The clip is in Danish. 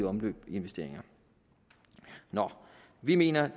omløb i investeringer vi mener